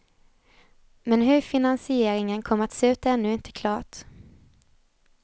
Men hur finansieringen kommer att se ut är ännu inte klart.